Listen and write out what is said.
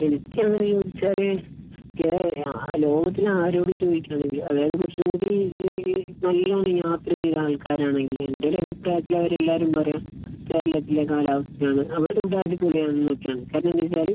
എനിക്ക് അങ്ങനെ ചോദിച്ചാൽ കേ ലോകത്തിലെ ആരോട് ചോദിക്കുകയാണെങ്കിൽ അതായത് കുറച്ച് കൂടി ഏഹ് ഏഹ് നല്ലോണം യാത്ര ചെയ്ത ആൾക്കാരാണെങ്കിൽ എന്റെ ഒരു അഭിപ്രായത്തിൽ അവരെല്ലാവരും പറയുക കേരളത്തിലെ കാലാവസ്ഥയാണ്. നമ്മളുടെ ഇവിടെ അടിപൊളിയാണെന്ന് ഒക്കെയാണ്. കാരണം എന്ന് വെച്ചാൽ